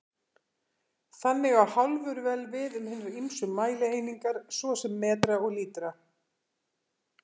Þannig á hálfur vel við um hinar ýmsu mælieiningar, svo sem metra og lítra.